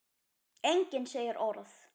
Enginn segir orð.